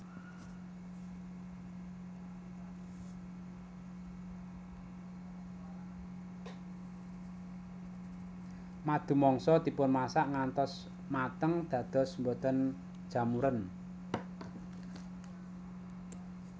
Madu mangsa dipunmasak ngantos matêng dados mbotên jamurên